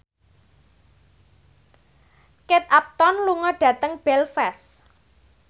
Kate Upton lunga dhateng Belfast